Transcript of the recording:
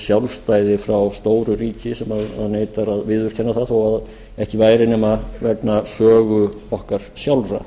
sjálfstæði frá stóru ríki sem neitar að viðurkenna það þó ekki væri nema vegna sögu okkar sjálfra